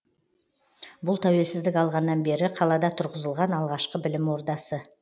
бұл тәуелсіздік алғаннан бері қалада тұрғызылған алғашқы білім ордасы